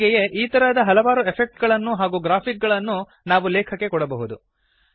ಹೀಗೆಯೇ ಈ ತರಹದ ಹಲವಾರು ಎಫೆಕ್ಟ್ ಗಳನ್ನು ಹಾಗೂ ಗ್ರಾಫಿಕ್ ಗಳನ್ನು ನಾವು ಲೇಖಕ್ಕೆ ಕೊಡಬಹುದು